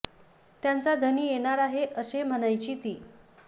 त्याचा धनी येणार आहे असं म्हणायची ती